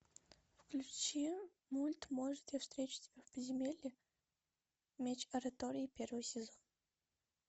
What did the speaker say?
включи мульт может я встречу тебя в подземелье меч оратории первый сезон